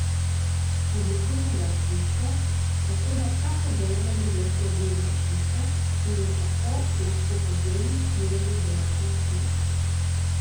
Oblikujemo ga z žico, tako da vsako vejo na drevesu ovijemo z žico in jo tako lahko po želji usmerjamo v določeno smer.